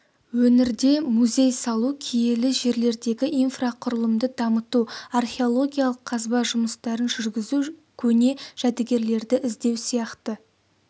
өңірде музей салу киелі жерлердегі инфрақұрылымды дамыту археологиялық қазба жұмыстарын жүргізу көне жәдігерлерді іздеу сияқты